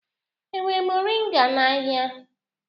E nwere moringa n'ahịa?